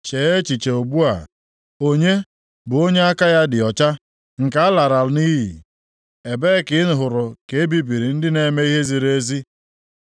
“Chee echiche ugbu a! Onye, bụ onye aka ya dị ọcha, nke a larala nʼiyi? Ebee ka i hụrụ ka e bibiri ndị na-eme ihe ziri ezi?